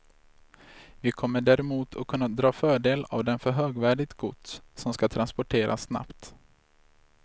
Vi kommer däremot att kunna dra fördel av den för högvärdigt gods som ska transporteras snabbt.